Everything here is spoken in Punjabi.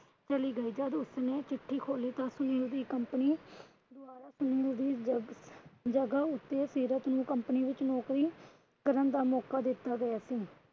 ਚਲੀ ਗਈ। ਜੱਦ ਉਸਨੇ ਚਿੱਠੀ ਖੋਲੀ ਤਾਂ company ਜਗਹ ਉਸੇ ਸੀਰਤ ਨੂੰ company ਵਿੱਚ ਨੌਕਰੀ ਕਰਨ ਦਾ ਮੌਕਾ ਦਿੱਤਾ ਗਿਆ ਸੀ।